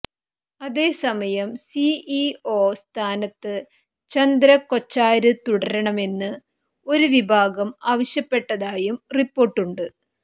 അതേസമയം സിഇഒ സ്ഥാനത്ത് ചന്ദ കൊച്ചാര് തുടരണമെന്ന് ഒരു വിഭാഗം ആവശ്യപ്പെട്ടതായും റിപ്പോര്ട്ടുണ്ട്